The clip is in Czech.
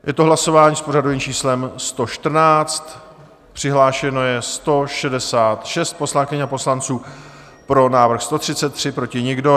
Je to hlasování s pořadovým číslem 114, přihlášeno je 166 poslankyň a poslanců, pro návrh 133, proti nikdo.